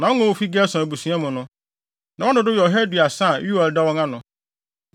Wɔn a wofi Gersom abusua mu no, na wɔn dodow yɛ ɔha aduasa (130), a Yoel da wɔn ano.